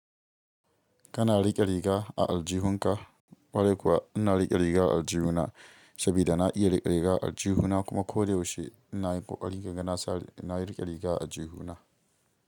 Kana rik'e riga a alji hunka, ƙwarai kuwa ina rik'e riga alji huna, sabida na iye rik'e riga a alji huna kuma kode yaushe ina yin ƙoƙari kaga sa na rik'e riga a alji huna.